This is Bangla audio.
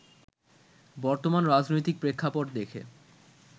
বর্তমান রাজনৈতিক প্রেক্ষাপট দেখে